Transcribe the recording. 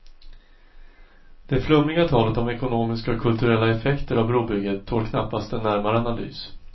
Det flummiga talet om ekonomiska och kulturella effekter av brobygget tål knappast en närmare analys.